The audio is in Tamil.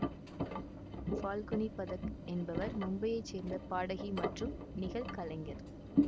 ஃபால்குனி பதக் என்பவர் மும்பையைச் சேர்ந்த பாடகி மற்றும் நிகழ் கலைஞர்